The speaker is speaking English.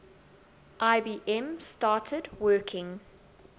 ibm started working